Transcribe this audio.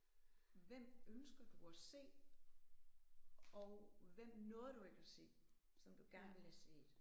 Hvem ønsker du at se og hvem nåede du ikke at se som du gerne ville have set?